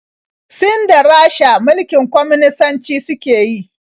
Sin da Rasha mulkin kwaminisanci suke yi.